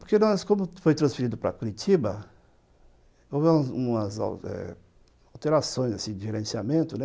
Porque nós, como foi transferido para Curitiba, houve algumas alterações, assim, de gerenciamento, né?